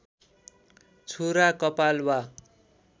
छुरा कपाल वा